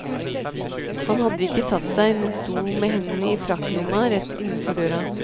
Han hadde ikke satt seg, men sto med hendene i frakkelomma rett innenfor døra.